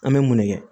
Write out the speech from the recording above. An bɛ mun ne kɛ